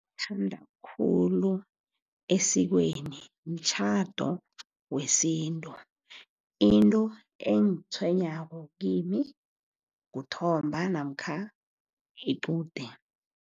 Okuthandwa khulu esikweni mtjhado wesintu. Into engitshwenyako kimi kuthomba namkha iqude.